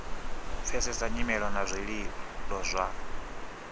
pfesesa nyimelo na zwililo zwa